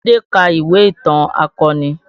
Adé ka ìwé ìtàn akọni